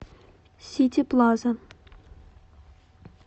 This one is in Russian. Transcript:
сити плаза